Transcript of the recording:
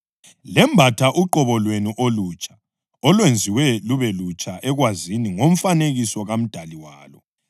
lembatha uqobo lwenu olutsha olwenziwa lube lutsha ekwazini ngomfanekiso kaMdali walo.